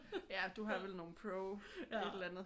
Ja du har vel nogle pro et eller andet